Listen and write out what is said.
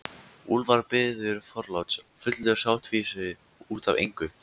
Úlfar biður forláts, fullur sáttfýsi út af engu.